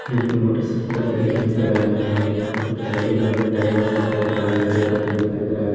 यहां पे मोटरसाइकिल से दिखाई दे रहा है यहां पे एक मोटरसाइकिल भी टंगा हुआ दिखाई दे रहा है यहां पे एक आदमी दिखाई दे रहा है।